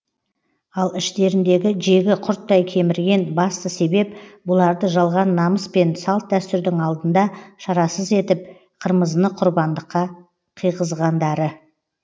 ал іштеріндегі жегі құрттай кемірген басты себеп бұларды жалған намыс пен салт дәстүрдің алдында шарасыз етіп қырмызыны құрбандыққа қыйғызғандары